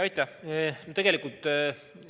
Aitäh!